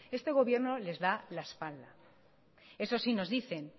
este gobierno les da la espalda eso sí nos dicen